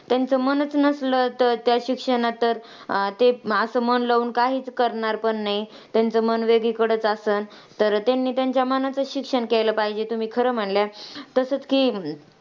त्यांचं मनच नसलं तर त्या शिक्षणात तर, ते असं मन लाऊन काहीच करणार पण नाहीत. त्यांचं मन वेगळीकडेच आसंल, तर त्यांनी त्यांच्या मनाचंच शिक्षण केलं पाहिजे, तुम्ही खरं म्हणल्या.